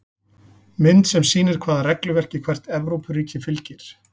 Mynd sem sýnir hvaða regluverki hvert Evrópuríki fylgir.